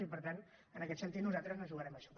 i per tant en aquest sentit nosaltres no jugarem a això